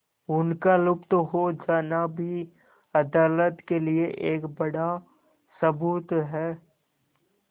उनका लुप्त हो जाना भी अदालत के लिए एक बड़ा सबूत है